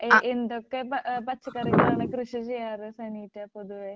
A എന്തൊക്കെ പച്ച ഏഹ് പച്ചക്കറികളാണ് കൃഷി ചെയ്യാറ് സനീറ്റ പൊതുവേ?